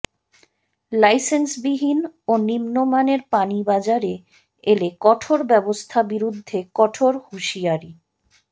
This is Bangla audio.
লাইসেন্সবিহীন ও নিম্নমানের পানি বাজারে এলে কঠোর ব্যবস্থা বিরুদ্ধে কঠোর হুঁসিয়ারী